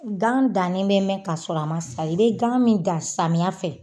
Gan danni bɛ mɛɛn ka sɔrɔ a ma sa. I bɛ gan min dan samiya fɛ